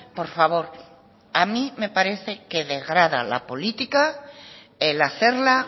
por favor a mí me parece que degrada la política el hacerla